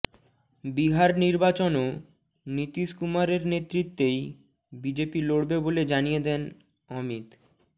বিহার নির্বাচনও নীতীশ কুমারের নেতৃত্বেই বিজেপি লড়বে বলে জানিয়ে দেন অমিত